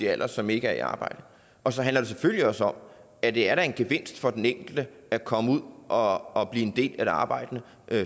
alder som ikke er i arbejde og så handler det selvfølgelig også om at det da er en gevinst for den enkelte at komme ud og og blive en del af det arbejdende